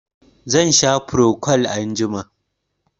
Zan sha frocwal anjima.